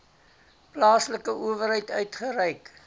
plaaslike owerheid uitgereik